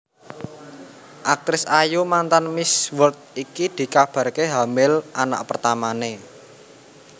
Aktris ayu mantan Miss World iki dikabarke hamil anak pertamane